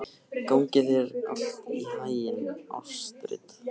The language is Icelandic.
Gangi þér allt í haginn, Astrid.